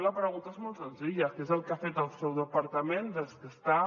i la pregunta és molt senzilla què és el que ha fet el seu departament des que està